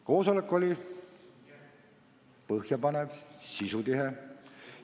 Koosolek oli põhjapanev ja sisutihe.